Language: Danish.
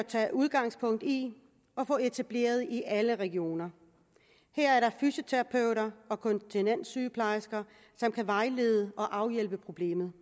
tage udgangspunkt i at få etableret i alle regioner her er der fysioterapeuter og kontinenssygeplejersker som kan vejlede og afhjælpe problemet